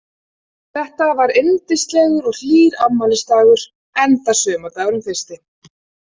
Þetta var yndislegur og hlýr afmælisdagur enda sumardagurinn fyrsti.